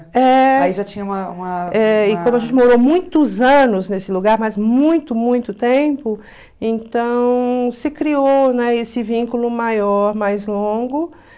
É. Aí já tinha uma uma... É e como a gente morou muitos anos nesse lugar, mas muito, muito tempo, então se criou, né, esse vínculo maior, mais longo, né?